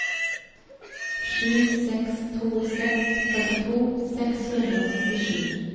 sju seks to seks førtito seks hundre og nittisju